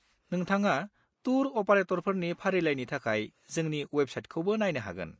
नोंथाङा टुर अपारेटरफोरनि फारिलाइनि थाखाय जोंनि वेबसाइटखौबो नायनो हागोन।